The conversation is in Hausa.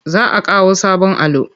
Za a kawo sabon allo.